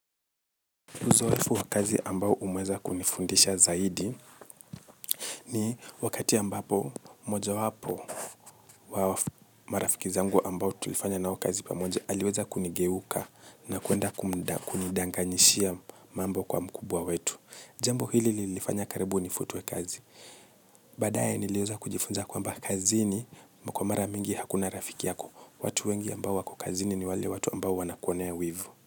Uzoefu wa kazi ambao umeweza kunifundisha zaidi ni wakati ambapo mojawapo wa marafiki zangu ambao tulifanya na wao kazi pamoja aliweza kunigeuka na kuenda kunidanganyishia mambo kwa mkubwa wetu. Jambo hili lilinifanya karibu nifutwekazi. Baadaye niliweza kujifunza kwamba kazi ni kwa mara mingi hakuna rafiki yako. Watu wengi ambao wako kazini ni wale watu ambao wanakonea wivu.